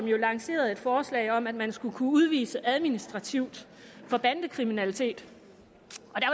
jo lanceret et forslag om at man skal kunne udvise administrativt for bandekriminalitet